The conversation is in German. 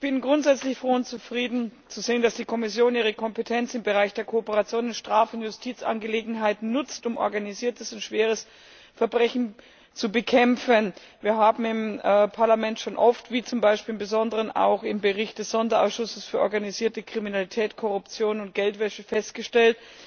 Ich bin grundsätzlich froh und zufrieden zu sehen, dass die Kommission ihre Kompetenz im Bereich der Kooperation in Straf und Justizangelegenheiten nutzt, um organisiertes und schweres Verbrechen zu bekämpfen. Wir haben im Parlament schon oft, wie zum Beispiel im Besonderen auch im Bericht des Sonderausschusses für organisierte Kriminalität, Korruption und Geldwäsche, festgestellt,